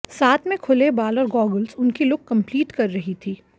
साथ में खुले बाल और गॉगल्स उनकी लुक कम्पलीट कर रही थी